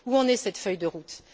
Où en est cette feuille de route?